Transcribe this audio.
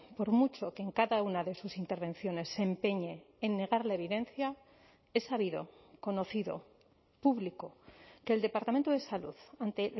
por mucho que en cada una de sus intervenciones se empeñe en negar la evidencia es sabido conocido público que el departamento de salud ante